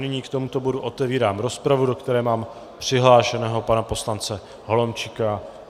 nyní k tomuto bodu otevírám rozpravu, do které mám přihlášeného pana poslance Holomčíka.